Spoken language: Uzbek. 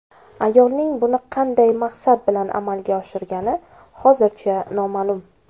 Ayolning buni qanday maqsad bilan amalga oshirgani hozircha noma’lum.